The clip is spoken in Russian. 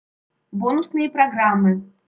бонусные программы